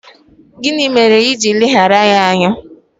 Gịnị mere iji ileghara ya anya?